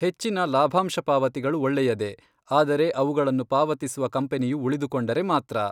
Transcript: ಹೆಚ್ಚಿನ ಲಾಭಾಂಶ ಪಾವತಿಗಳು ಒಳ್ಳೆಯದೇ, ಆದರೆ ಅವುಗಳನ್ನು ಪಾವತಿಸುವ ಕಂಪನಿಯು ಉಳಿದುಕೊಂಡರೆ ಮಾತ್ರ.